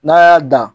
N'a y'a dan